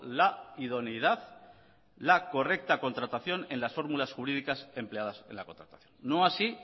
la idoneidad ha buscado la correcta contratación en las fórmulas jurídicas empleadas en la contratación no así